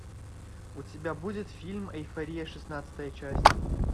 у тебя будет фильм эйфория шестнадцатая часть